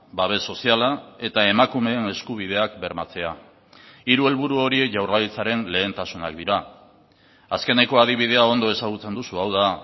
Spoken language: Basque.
babes soziala eta emakumeen eskubideak bermatzea hiru helburu horiek jaurlaritzaren lehentasunak dira azkeneko adibidea ondo ezagutzen duzu hau da